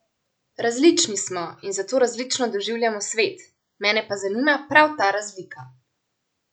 Različni smo in zato različno doživljamo svet, mene pa zanima prav ta razlika.